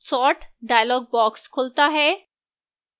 sort dialog box खुलता है